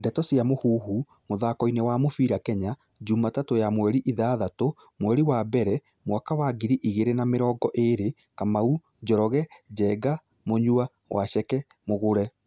Ndeto cia Mũhuhu, mũthakoini wa mũbĩra Kenya, Jumatatũ ya mweri ithathatũ, mweri wa mbere, mwaka wa ngiri igĩrĩ na mĩrongo ĩrĩ :Kamau, Njoroge, Njenga, Munyua, Waceke, Mugure